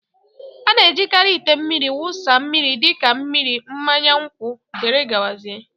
A na-ejikarị ite mmiri wụsa mmiri dị ka mmiri, mmanya nkwụ, wdg